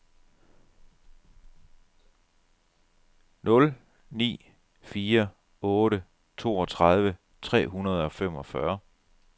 nul ni fire otte toogtredive tre hundrede og femogfyrre